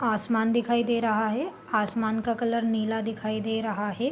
आसमान दिखाई दे रहा है | आसमान का कलर नीला दिखाई दे रहा है |